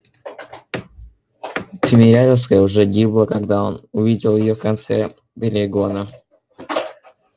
тимирязевская уже гибла когда он увидел её конце перегона